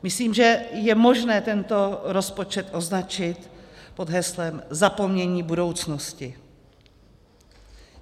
Myslím, že je možné tento rozpočet označit pod heslem "zapomnění budoucnosti".